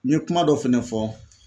N ye kuma dɔ fɛnɛ fɔ